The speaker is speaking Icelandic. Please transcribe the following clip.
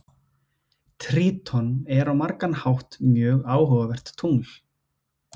Tríton er á margan hátt mjög áhugavert tungl.